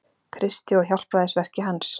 Kristi og hjálpræðisverki hans.